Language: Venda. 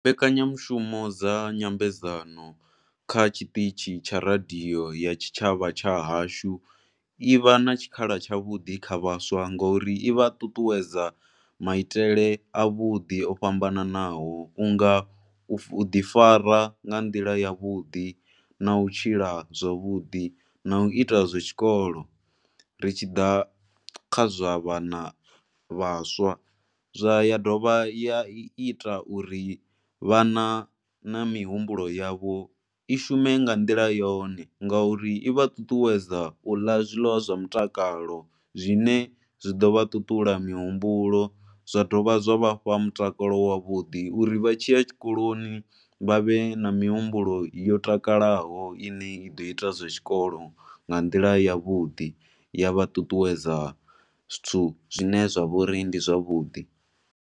Mbekanyamushumo dza nyambedzano kha tshiṱitshi tsha radio ya tshitshavha tsha hashu i vha na tshikhala tshavhuḓi kha vhaswa ngauri i vha ṱuṱuwedza maitele avhuḓi o fhambanaho. Vhu nga u ḓifara nga nḓila yavhuḓi. Na u tshila zwavhuḓi na u ita zwa zwikolo ri tshi ḓa kha zwa vhana vhaswa. Ya dovha ya ita uri vhana na mihumbulo yavho i shume nga nḓila yone ngauri i vha ṱuṱuwedza u ḽa zwiḽiwa zwa mutakalo zwine zwi ḓo vha ṱuṱula mihumbulo zwa dovha zwa vha fha mutakalo wavhuḓi uri vha tshi ya tshikoloni vha vhe na mihumbulo yo takalaho i ne i ḓo ita zwa tshikolo nga nḓila yavhuḓi ya vha ṱuṱuwedza zwithu zwine zwa vha uri ndi zwavhuḓi.